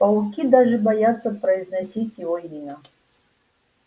пауки даже боятся произносить его имя